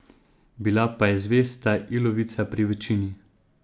Bila pa je zvesta ilovica pri večini.